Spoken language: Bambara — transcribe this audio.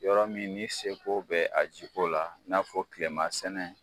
Yɔrɔ min ni seko bɛ a ji ko la i n'a fɔ tilema sɛnɛ